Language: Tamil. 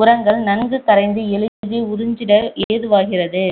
உரங்கள் நன்கு கரைந்து எளிதில் உறிஞ்சிட ஏதுவாகிறது